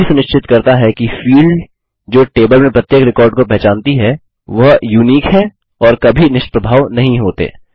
यह यह भी सुनिश्चित करता है कि फील्ड जो टेबल में प्रत्येक रिकॉर्ड को पहचानती है वह यूनिक हैं और कभी निष्प्रभाव नहीं होते